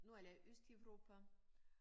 Nu eller Østeuropa